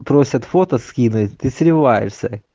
просят фото скинуть ты сливаешься